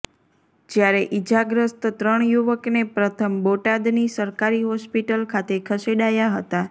જ્યારે ઈજાગ્રસ્ત ત્રણ યુવકને પ્રથમ બોટાદની સરકારી હોસ્પિટલ ખાતે ખસેડાયા હતા